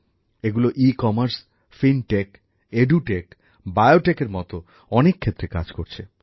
এগুলো ecommerce fintech edtech বায়োটেকের মত অনেক ক্ষেত্রে কাজ করছে